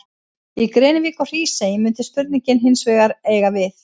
Í Grenivík og Hrísey mundi spurningin hins vegar eiga við.